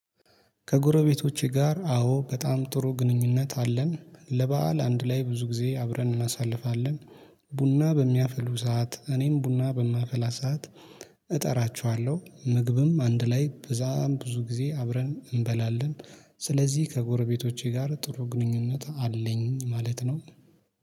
ከጎረቤቶቼ ጋር አዎ በጣም ጥሩ ግንኙነት አለን ለበአል አንድ ላይ ብዙ ጊዜ አብረን እናሳልፋለን። ቡና በሚያፍሉ ሰዓት እኔም ቡና በማፍላ ሰዓት። እጠራችኋለሁ ምግብም አንድ ላይ ብዛም ብዙ ጊዜ አብረን እንበላለን። ስለዚህ ከጎረቤቶቼ ጋር ጥሩ ግንኙነት አለኝ ማለት ነው